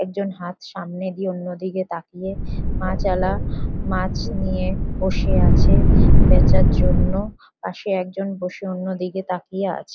একজন হাত সামনে দিয়ে অন্য দিকে তাকিয়ে মাছয়ালা মাছ নিয়ে বসে আছে বেচার জন্য পাশে একজন বসে অন্য দিকে তাকিয়ে আছে।